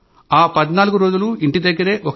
ఆ 14 రోజులు ఇంటి దగ్గరే ఒక గదిలో ఉండాలని చెప్పారు